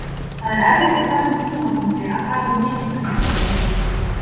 Það er erfitt á þessum tímapunkti að tala um mistök, segir Heimir.